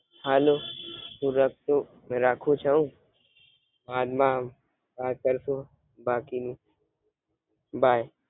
હાલો, હું રકતુ રાખું છવ. બાદ માં વાત કરશું. બાકી બાય